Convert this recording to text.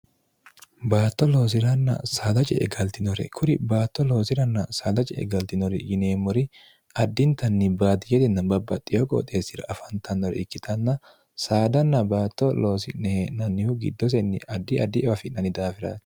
baatto looziranna saadaje e galtinore kuri baatto looziranna saadaje e galtinori yineemmori addintanni baadiyerinna babbaxxiyoho qooxeessira afaantannore ikkitanna saadanna baatto loosi'nehee'nannihu giddosenni addi addiewa afi'nanni daafira